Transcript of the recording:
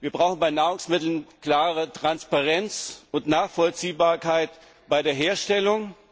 Wir brauchen bei Nahrungsmitteln Transparenz und klare Nachvollziehbarkeit bei der Herstellung.